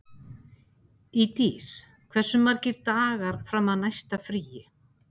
Ísdís, hversu margir dagar fram að næsta fríi?